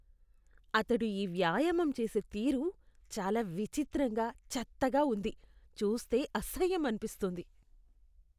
అతడు ఈ వ్యాయామం చేసే తీరు చాలా విచిత్రంగా, చెత్తగా ఉంది, చూస్తే అసహ్యం అనిపిస్తుంది.